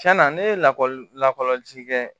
Tiɲɛna ne ye lakɔli lakɔlɔsili kɛ